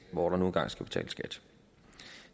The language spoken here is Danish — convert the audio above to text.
hvor der nu engang skal betales skat